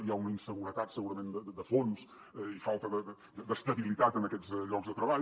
hi ha una inseguretat segurament de fons i falta d’estabilitat en aquests llocs de treball